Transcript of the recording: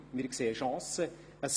Die Regierung sagte damals: